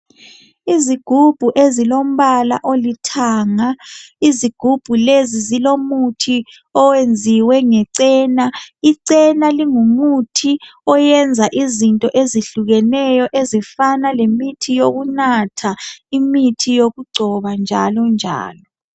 Izigubhu ezilombala olithanga, izigubhu lezi zilomuthi owenziwe ngechena ,ichena lingumuthi oyenza izinto ezihlukeneyo ezifana lemithi yokunatha, imithi yokungcoba njalo njalo.